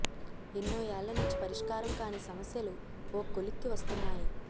ఎన్నో ఏళ్ల నుంచి పరిష్కారం కాని సమస్యలు ఓ కొలిక్కి వస్తున్నాయి